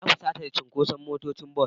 Na fusata da cunkoson motocin bas.